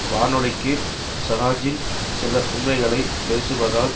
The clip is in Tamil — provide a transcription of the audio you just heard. வானொலிக்கு சராஜின் சில உண்மைகளைப் பேசுவதால்